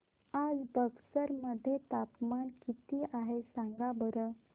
आज बक्सर मध्ये तापमान किती आहे सांगा बरं